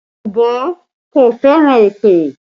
Yorùbá kò fẹ́ràn èpè